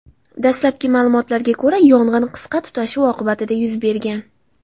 Dastlabki ma’lumotlarga ko‘ra, yong‘in qisqa tutashuv oqibatida yuz bergan.